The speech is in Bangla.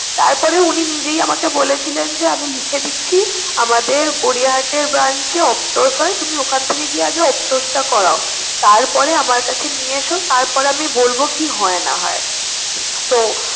তারপরে উনি নিজেই আমাকে বলেছিলেন যে, আমি লিখে দিচ্ছি আমাদের গড়িয়াহাটের branch এ optos হয় তুমি ওখান থেকে গিয়ে আগে optos টা করাও। তারপরে আমার কাছে নিয়ে এসো, তারপরে আমি বলবো কি হয় না হয়। তো